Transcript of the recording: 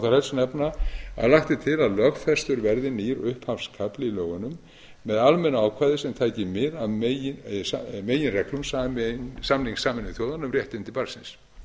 helst nefna að lagt er til að lögfestur verði nýr upphafskafli í lögunum með almennu ákvæði sem tæki mið af meginreglum samnings sameinuðu þjóðanna um réttindi barnsins